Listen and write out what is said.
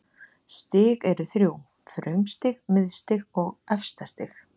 Stig eru þrjú: frumstig, miðstig og efstastig.